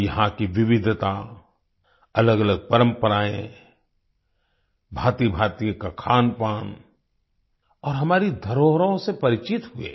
वो यहाँ की विविधता अलगअलग परम्पराएं भांतिभांति का खानपान और हमारी धरोहरों से परिचित हुए